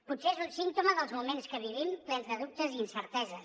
potser és un símptoma dels moments que vivim plens de dubtes i incerteses